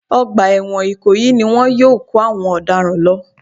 Ọgbà ẹ̀wọ̀n ìkòyí ni wọn yóò kó àwọn ọ̀daràn lọ